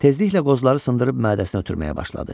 Tezliklə qozları sındırıb mədəsinə ötürməyə başladı.